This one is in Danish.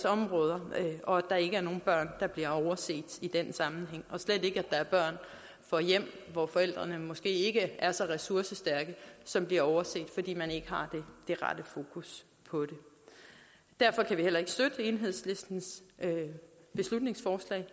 områder og at der ikke er nogen børn der bliver overset i den sammenhæng og slet ikke at der er børn fra hjem hvor forældrene måske ikke er så ressourcestærke som bliver overset fordi man ikke har det rette fokus på det derfor kan vi heller ikke støtte enhedslistens beslutningsforslag